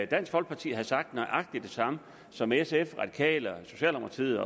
dansk folkeparti havde sagt nøjagtig det samme som sf radikale socialdemokratiet